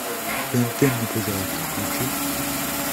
тнт мне пожалуйста включи